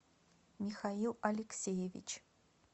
михаил алексеевич